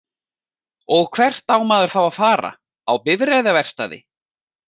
Og hvert á maður þá að fara, á bifreiðaverkstæði?